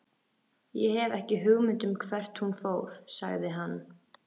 Ég hef ekki hugmynd um hvert hún fór, sagði hann.